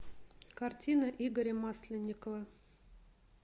картина игоря масленникова